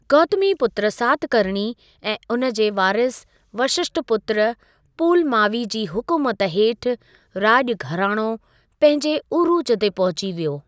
गौतमीपुत्र सातकर्णी ऐं उन जे वारिस वशिष्ठिपुत्र पुलमावी जी हुकुमत हेठि राॼु घरानो पंहिंजे उरूज ते पहुची वियो।